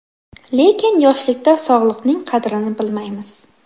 Lekin, yoshlikda sog‘liqning qadrini bilmaymiz.